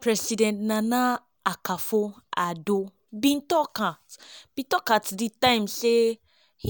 president nana akufo-addo bin tok at di time say